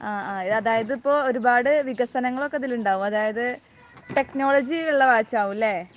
ആ. അതായത് ഒരുപാട് വികസനങ്ങൾ ഒക്കെ ഇതിലുണ്ടാകും, അതായത് ടെക്നോളജി ഉള്ള വാച്ച് ആകും അല്ലേ?